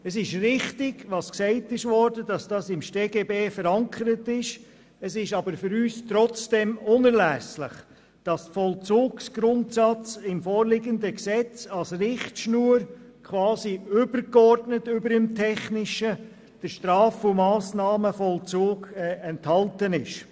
Es ist richtig, es ist im StGB verankert, aber für uns ist es trotzdem unerlässlich, dass dieser Vollzugsgrundsatz im vorliegenden Gesetz als Richtschnur übergeordnet über den technischen Aspekten enthalten ist.